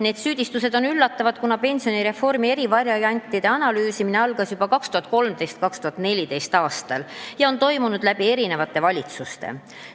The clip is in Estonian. Need süüdistused on üllatavad, kuna pensionireformi eri variantide analüüsimine algas juba 2013. ja 2014. aastal ning on toimunud eri valitsustes.